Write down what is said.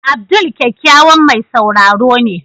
Abdul kyakkyawan mai sauraro ne.